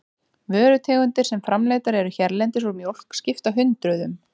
Vörutegundir sem framleiddar eru hérlendis úr mjólk skipta hundruðum.